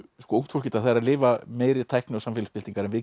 ungt fólk í dag er að lifa meiri tækni og samfélagsbyltingar en við